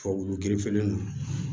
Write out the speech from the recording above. Tubabu gerefelen don